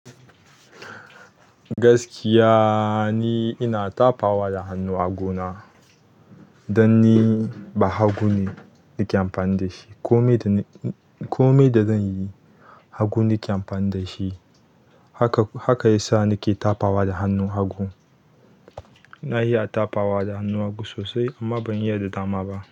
Gaskiya ni ina tafawa da hannu a hagu na don ni ba hagu ne nake amfani da shi. Komi da na kome da zan yi, hagu nake amfani da shi. Haka ya sa nake tafawa da hannun hagu. Na iya tapawa da hannun hagu sosai amma ban iya da dama ba.